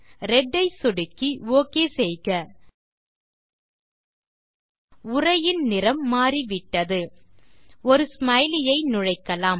red ஐ சொடுக்கி ஒக் செய்க உரையின் நிறம் மாறிவிட்டது ஒரு ஸ்மைலி ஐ நுழைக்கலாம்